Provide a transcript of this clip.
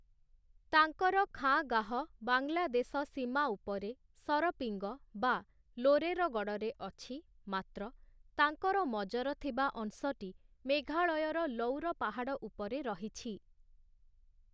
ତାଙ୍କର ଖାଁଗାହ ବାଂଲାଦେଶ ସୀମା ଉପରେ, ସରପିଙ୍ଗ ବା ଲୋରେରଗଡ଼଼ରେ ଅଛି, ମାତ୍ର ତାଙ୍କର ମଜର ଥିବା ଅଂଶଟି ମେଘାଳୟର ଲଉର ପାହାଡ଼ ଉପରେ ରହିଛି ।